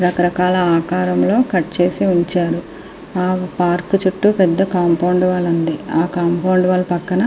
రకరకాల ఆకారంలో కట్ చేసి ఉంచారు. ఆ పార్క్ చుట్టూ పెద్ధ కాంపౌండ్ వాల్ ఉంది. ఆ కాంపౌండ్ వాల్ పక్కన--